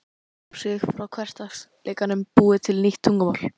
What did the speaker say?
Til að einangra sig frá hversdagsleikanum búið til nýtt tungumál